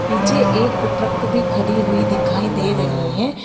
पीछे एक ट्रक भी खड़ी हुई दिखाई दे रही है।